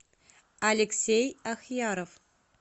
алексей ахьяров